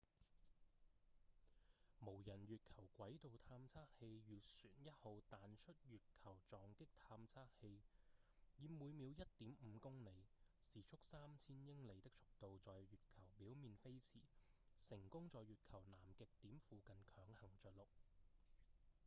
無人月球軌道探測器月船1號彈出月球撞擊探測器 mip 以每秒 1.5 公里時速3000英里的速度在月球表面飛馳成功在月球南極點附近強行著陸